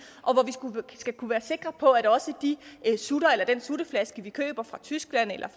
skal kunne være sikre på at også de sutter eller den sutteflaske vi køber fra tyskland eller